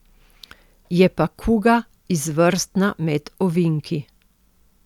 Je pa kuga izvrstna med ovinki.